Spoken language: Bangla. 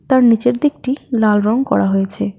তার নীচের দিকটি লাল রং করা হয়েছে।